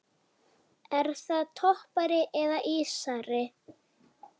Er það toppari eða ísari?